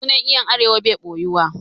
Sunan 'yan Arewa bai ɓoyuwa